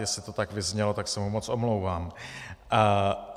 Jestli to tak vyznělo, tak se mu moc omlouvám.